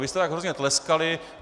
Vy jste tak hrozně tleskali.